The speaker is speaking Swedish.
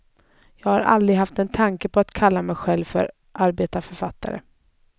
Jag har aldrig haft en tanke på att kalla mig själv för arbetarförfattare.